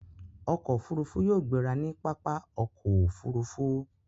Ọkọ̀ òfurufú yóò gbéra ní pápá okoofurufu